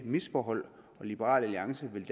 misforhold og liberal alliance vil